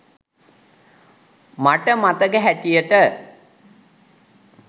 මට මතක හැටියට